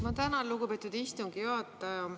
Ma tänan, lugupeetud istungi juhataja.